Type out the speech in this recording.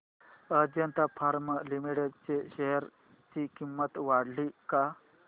Ajanta pharma limited च्या share ची किंमत वाढली का